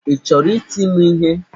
Ị chọrọ iti m ihe?